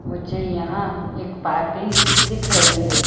मुझे यहां एक पार्किंग दिख रही है।